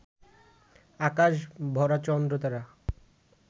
আকাশ ভরা চন্দ্র-তারা,